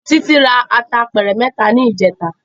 Titi rá àtá àpèrè mètá nijètá